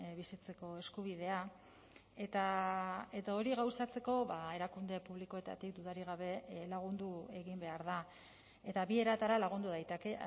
bizitzeko eskubidea eta hori gauzatzeko erakunde publikoetatik dudarik gabe lagundu egin behar da eta bi eratara lagundu daiteke